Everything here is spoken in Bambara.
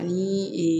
Ani